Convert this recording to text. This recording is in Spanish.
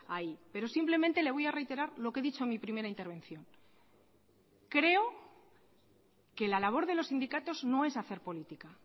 ahí pero simplemente le voy a reiterar lo que he dicho en mi primera intervención creo que la labor de los sindicatos no es hacer política